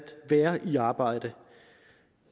være i arbejde